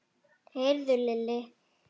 Heyrðu Lilli.